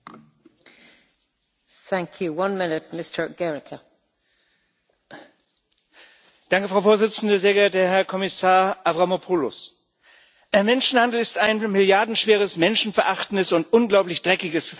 Frau Präsidentin, sehr geehrter Herr Kommissar Avramopoulos! Menschenhandel ist ein milliardenschweres, menschenverachtendes und unglaublich dreckiges Verbrechen.